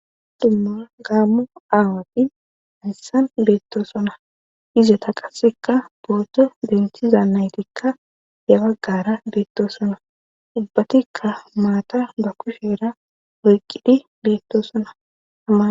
dumma gaammu aawati hayssan beettosona izeta qassekka boodo denthiza naytikka he baggara beettosona ubbatikka maata ba kusheera oyqqidi beettosonaa